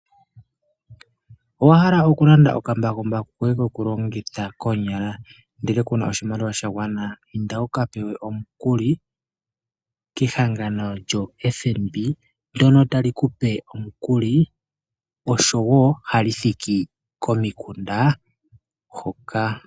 Owa hala okulanda okambakumbaku koye kokulongitha koonyala ndele kuna oshimaliwa sha gwana, inda wu kapewe omukuli kehangano lyo FNB ndono tali kupe omukuli oshowo hali thiki komikunda hoka.